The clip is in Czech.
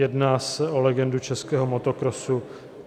Jedná se o legendu českého motokrosu.